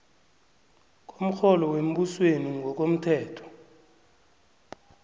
komrholo wembusweni ngokomthetho